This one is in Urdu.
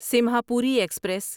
سیمہاپوری ایکسپریس